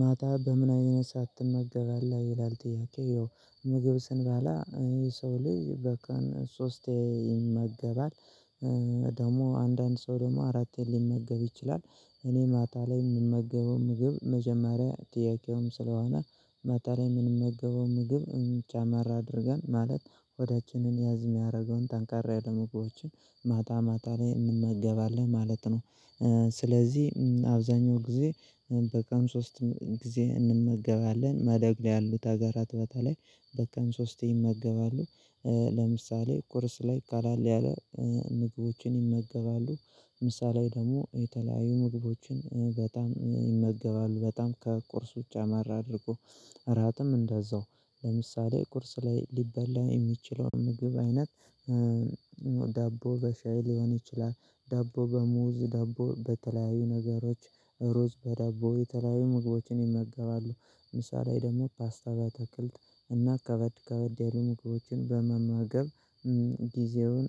ማታ በምን አይነት ሰዓት ትመገባለህ ይላል ጥያቄው። ምግብ ስንበላ የሰው ልጅ በቀን ሶስቴ ይመገባል። ደግሞ አንዳንድ ሰው ደግሞ አራቴም ሊመገብ ይችላል። እኔ ማታ ላይ የምመገበው ምግብ መጀመሪያ ጥያቄውም ስለሆነ፣ ማታ ላይ የምንመገበው ምግብ ጨመር አድርገን ማለት ሆዳችንን ያዝ የሚያደርገውን ጠንከር ያሉ ምግቦችችን ማታ ማታ ላይ እንመገባለን ማለት ነው። ስለዚህ አብዛኛው ጊዜ በቀን ሶስት ጊዜ እንመገባለን። በማደግ ላይ ያሉት ሀገራት በተለይ በቀን ሶስት ይመገባሉ። ለምሳሌ ቁርስ ላይ ቀለል ያለ ምግቦችን ይመገባሉ። ምሳ ላይ ደግሞ የተለያዩ ምግቦችን በጣም ይመገባሉ። በጣም ከቁርስ ጨመር አድርጎ እራትም እንደዛው ለምሳሌ ቁርስ ላይ ሊበላ የሚችለውን ምግብ አይነት፣ ዳቦ በሻይ ሊሆን ይችላል፣ ዳቦ በሙዝ ዳቦ በተለያዩ ነገሮች፣ ሩዝ በዳቦ የተለያዩ ምግቦችን ይመገባሉ። ምሳሌ ደግሞ ፓስታ በአትክልት እና ከበድ ከበድ ያሉ ምግቦችን በመመገብ፣ ጊዜውን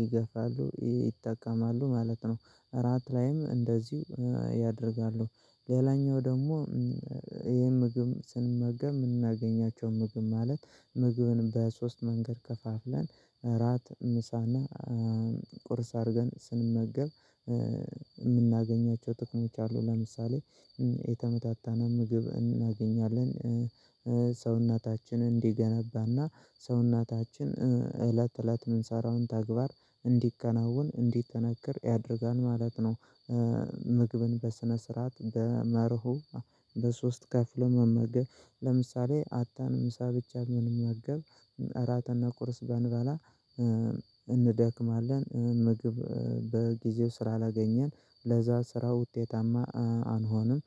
ይገፋሉ ይጠቀማሉ ማለት ነው። እራት ላይም እንደዚሁ ያደርጋሉ። ሌላኛው ደግሞ ይሄን ምግብ ስንመገብ የምናገኛቸው ምግብ ማለት ምግብን በሶስት መንገድ ከፋፍለን እራት ምሳና ቁርስ አድርገን ስንመገብ የምናገኛቸው ጥቅሞች አሉ። ለምሳሌ የተመጣጠነ ምግብ እናገኛለን ሰውነታችን እንዲገነባና ሰውነታችን እለት እለት የምንሰራውን ተግባር እንዲከናወን እንዲጠነክር ያደርጋል ማለት ነው። ምግብን በስነ ስርዓት በመርሁ በሶስት ከፍሎ መመገብ ለምሳሌ አጥተን ምሳ ብቻ ብንመገብ እራትና ቁርስ ባንበላ እንደክማለን ምግብ በጊዜው ስላ ላገኘን ለዛ ስራ ውጤታማ አንሆንም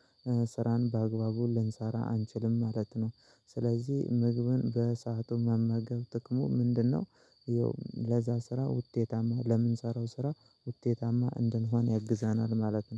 ስራን በአግባቡ ልንሰራ አንችልም ማለት ነው። ስለዚህ ምግብን በሰአቱ መመገብ ጥቅሙ ምንድነው ይኸው ለዛ ስራ ውጤታማ ለምንሰራው ስራ ውጤታማ እንድንሆን ያግዘናል ማለት ነው።